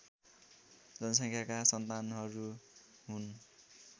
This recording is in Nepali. जनसङ्ख्याका सन्तानहरू हुन्